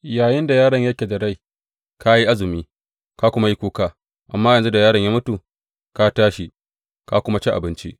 Yayinda yaron yake da rai, ka yi azumi, ka kuma yi kuka, amma yanzu da yaron ya mutu, ka tashi, ka kuma ci abinci!